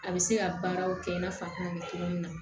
A bɛ se ka baaraw kɛ i n'a fɔ a tɛna cogo min na